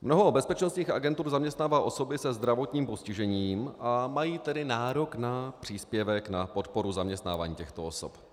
Mnoho bezpečnostních agentur zaměstnává osoby se zdravotním postižením, a mají tedy nárok na příspěvek na podporu zaměstnávání těchto osob.